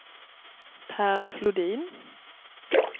Pär Flodin